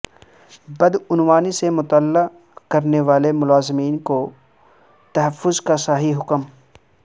بدعنوانی سے مطلع کرنے والے ملازمین کے تحفظ کا شاہی حکم